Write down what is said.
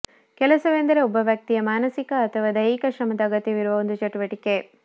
ಕೆಲಸವೆಂದರೆ ಒಬ್ಬ ವ್ಯಕ್ತಿಯ ಮಾನಸಿಕ ಅಥವಾ ದೈಹಿಕ ಶ್ರಮದ ಅಗತ್ಯವಿರುವ ಒಂದು ಚಟುವಟಿಕೆ